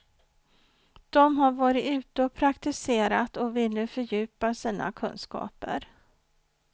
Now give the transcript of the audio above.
De har varit ute och praktiserat och vill nu fördjupa sina kunskaper.